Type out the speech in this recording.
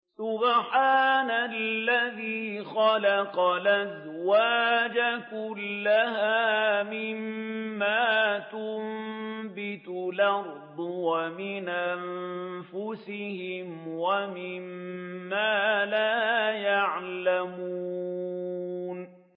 سُبْحَانَ الَّذِي خَلَقَ الْأَزْوَاجَ كُلَّهَا مِمَّا تُنبِتُ الْأَرْضُ وَمِنْ أَنفُسِهِمْ وَمِمَّا لَا يَعْلَمُونَ